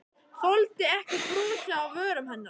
Þoldi ekki brosið á vörum hennar.